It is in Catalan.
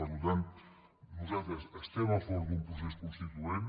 per tant nosaltres estem a favor d’un procés consti·tuent